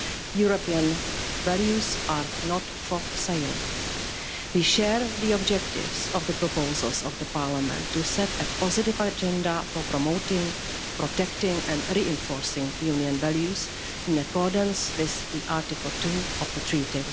European values are not for sale. We share the objectives of the proposals of the Parliament to set a positive agenda for promoting, protecting and reinforcing Union values in accordance with Article 2 of the Treaty.